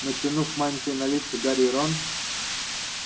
натянув мантии на лица гарри и рон